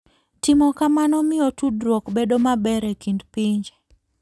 Timo kamano miyo tudruok bedo maber e kind pinje.